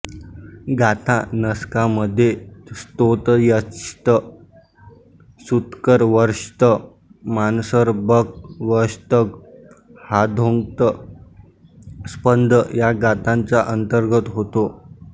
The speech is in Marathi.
गाथा नस्कामध्ये स्तोतयश्त सूत्कर वर्श्त मानसर बक वश्तग हाधोक्त स्पंद या गाथांचा अंतर्भाव होतो